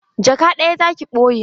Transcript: Jaka ɗaya za ki ɓoye?